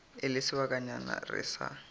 e le sebakanyana re sa